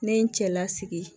Ne ye n cɛlasigi